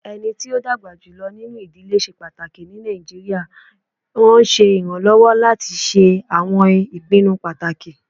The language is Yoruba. Ẹni tí ó dàgbà jùlọ nínú ìdílé ṣe pàtàkì ní Nàìjíríà, wọn ṣe iranlọwọ lati ṣe awọn ipinnu pataki.